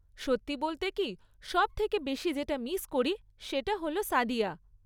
সত্যি বলতে কী, সব থেকে বেশি যেটা মিস করি, তা হল সাদিয়া।